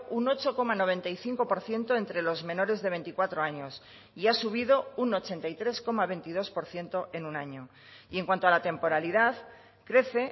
un ocho coma noventa y cinco por ciento entre los menores de veinticuatro años y ha subido un ochenta y tres coma veintidós por ciento en un año y en cuanto a la temporalidad crece